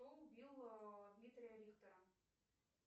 кто убил дмитрия рихтера